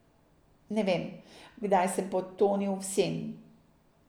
Ne vem, kdaj sem potonil v sen.